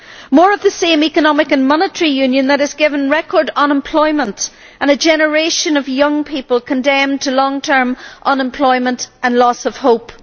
More of the same economic and monetary union, which has brought record unemployment and a generation of young people condemned to long term unemployment and loss of hope.